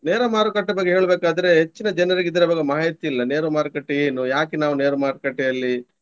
ನೇರ ಮಾರುಕಟ್ಟೆ ಬಗ್ಗೆ ಹೇಳ್ಬೇಕಾದ್ರೆ ಹೆಚ್ಚಿನ ಜನರಿಗೆ ಇದರ ಬಗ್ಗೆ ಮಾಹಿತಿ ಇಲ್ಲ. ನೇರ ಮಾರುಕಟ್ಟೆ ಏನು ಯಾಕೆ ನಾವು ನೇರ ಮಾರುಕಟ್ಟೆಯಲ್ಲಿ